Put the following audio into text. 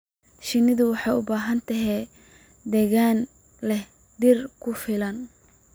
Shinnidu waxay u baahan tahay deegaan leh dhir ku filan